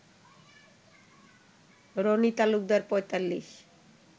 Roni Talukdar ৪৫